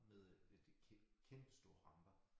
Med et kæmpestore ramper